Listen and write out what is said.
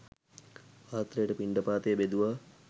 පාත්‍රයට පිණ්ඩපාතය බෙදුවා.